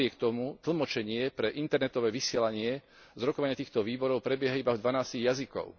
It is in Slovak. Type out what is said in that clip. Napriek tomu tlmočenie pre internetové vysielanie z rokovania týchto výborov prebieha iba v dvanástich jazykoch.